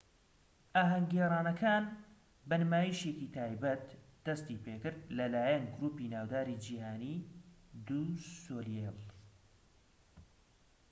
ئاھەنگ گێڕانەکان بە نمایشێکی تایبەت دەستی پێکرد لە لایەن گروپی ناوداری جیهانی دو سۆلێیل